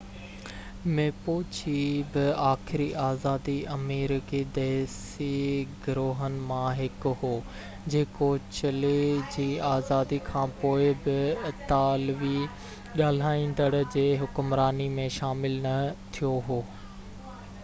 Mapuche بہ آخري آزادي آمريڪي ديسي گروهن مان هڪ هو جيڪو چلي جي آزادي کانپوءِ بہ اطالوي ڳالهائيندڙ جي حڪمراني ۾ شامل نہ ٿيو هو